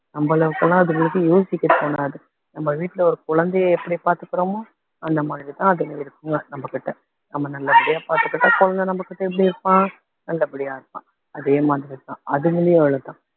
நம்ம அளவுகெல்லாம் அதுங்களுக்கு யோசிக்கக் தோணாது நம்ம வீட்டுல ஒரு குழந்தையை எப்படி பார்த்துக்கிறோமோ அந்த மாதிரிதான் அது இருக்குங்க நம்ம கிட்ட நம்ம நல்லபடியா பார்த்துக்கிட்டா குழந்தை நம்ம கிட்ட எப்படி இருப்பான் நல்லபடியா இருப்பான் அதே மாதிரிதான் அதுங்களையும் அவ்வளவுதான்